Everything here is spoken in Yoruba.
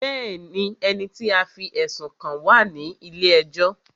Bẹ́ẹ̀ni, ẹni tí a fí ẹ̀sùn kàn wá à ní ilé ẹjọ́